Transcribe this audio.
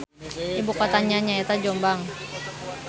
Ibukotana nyaeta Jombang.